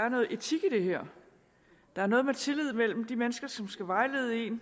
er noget etik i det her der er noget med tilliden til de mennesker som skal vejlede en